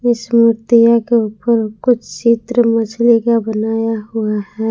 इस मूर्तियां के ऊपर कुछ चित्र मछली का बनाया हुआ है।